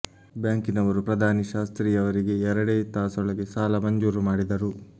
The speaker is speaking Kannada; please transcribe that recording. ಬ್ಯಾಂಕಿನವರು ಪ್ರಧಾನಿ ಶಾಸ್ತ್ರೀ ಅವರಿಗೆ ಎರಡೇ ತಾಸೊಳಗೆ ಸಾಲ ಮಂಜೂರು ಮಾಡಿದರು